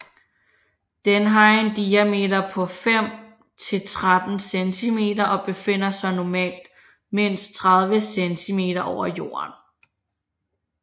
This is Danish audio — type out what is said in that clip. Den har en diameter på 5 til 13 centimeter og befinder sig normalt mindst 30 cm over jorden